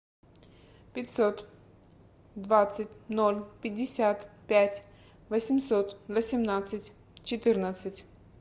пятьсот двадцать ноль пятьдесят пять восемьсот восемнадцать четырнадцать